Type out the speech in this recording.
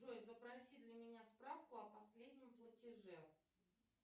джой запроси для меня справку о последнем платеже